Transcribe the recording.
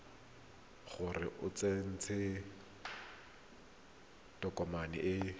gore o tsentse tokomane e